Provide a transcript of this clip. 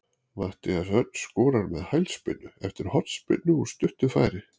Matthías Örn skorar með hælspyrnu eftir hornspyrnu úr stuttu færi.